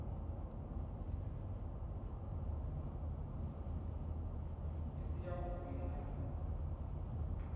i si yavhui na u